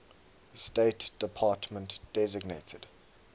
state department designated